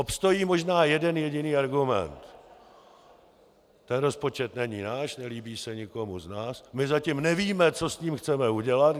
Obstojí možná jeden jediný argument: Ten rozpočet není náš, nelíbí se nikomu z nás, my zatím nevíme, co s tím chceme udělat.